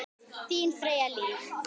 Þín Freyja Líf.